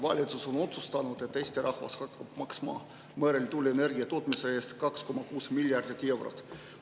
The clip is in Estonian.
Valitsus on otsustanud, et Eesti rahvas hakkab maksma merel tuuleenergia tootmise eest 2,6 miljardit eurot.